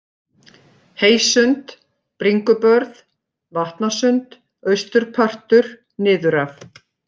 Heysund, Bringubörð, Vatnasund, Austurpartur niðuraf